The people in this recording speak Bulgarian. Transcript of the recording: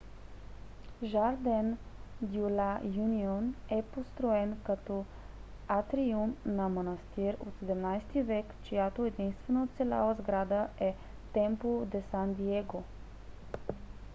жарден дьо ла юнион е построен като атриум на манастир от 17 век чиято единствена оцеляла сграда е темпло де сан диего